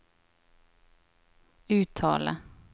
uttale